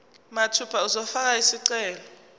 mathupha uzofaka isicelo